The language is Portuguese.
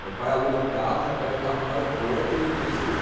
Meu pai aluga um carro, já pega o carro no aeroporto e ninguém segura.